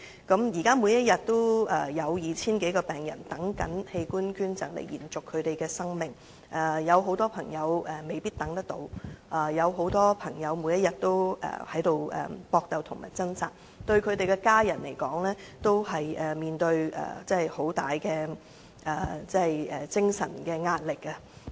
現時每天也有 2,000 多名病人正在輪候器官捐贈來延續生命，有很多朋友未必等得到，有很多則每天也在搏鬥和掙扎，他們的家人均面對極大的精神壓力。